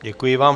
Děkuji vám.